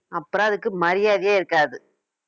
அப்புறம் அதுக்கு மரியாதையே இருக்காது